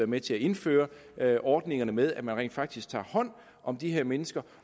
med til at indføre ordningerne med at man rent faktisk tager hånd om de her mennesker